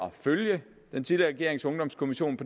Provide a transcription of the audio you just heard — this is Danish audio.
at følge den tidligere regerings ungdomskommissions